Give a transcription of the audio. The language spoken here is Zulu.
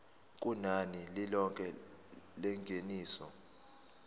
kunani lilonke lengeniso